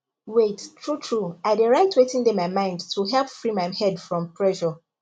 wait truetrue i dey write wetin dey my mind to help free my head from pressure